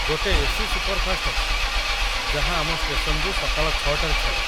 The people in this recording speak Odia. ଗୋଟେ ଏ.ସି. ସୁପରଫାଷ୍ଟ ଅଛି ଯାହା ଆମ ଷ୍ଟେସନ୍‌‌ରୁ ସକାଳ ୬ଟାରେ ଛାଡ଼େ।